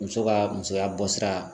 Muso ka musoya bɔ sira